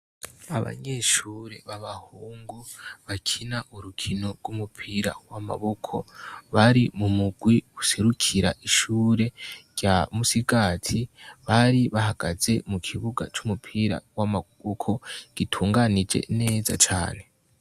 Abanyeshure b'abahungu bakina urukino rw'umupira w'amaboko, bari mu mugwi userukira ishure rya Musigati, bari bahagaze mu kibuga c'umupira w'amaboko, gitunganije neza cane.